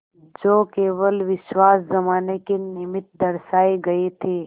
जो केवल विश्वास जमाने के निमित्त दर्शाये गये थे